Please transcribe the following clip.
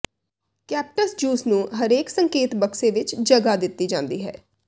ਕੈਪਟਸ juice ਨੂੰ ਹਰੇਕ ਸੰਕੇਤ ਬਕਸੇ ਵਿੱਚ ਜਗ੍ਹਾ ਦਿੱਤੀ ਜਾਂਦੀ ਹੈ